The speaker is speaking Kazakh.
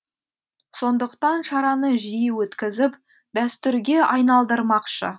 сондықтан шараны жиі өткізіп дәстүрге айналдырмақшы